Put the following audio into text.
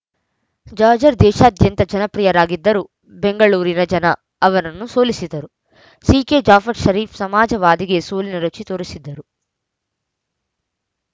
ಜಾಜ್‌ರ್‍ ದೇಶಾದ್ಯಂತ ಜನಪ್ರಿಯರಾಗಿದ್ದರೂ ಬೆಂಗಳೂರಿನ ಜನ ಅವರನ್ನು ಸೋಲಿಸಿದ್ದರು ಸಿಕೆ ಜಾಫರ್‌ ಷರೀಫ್‌ ಸಮಾಜವಾದಿಗೆ ಸೋಲಿನ ರುಚಿ ತೋರಿಸಿದ್ದರು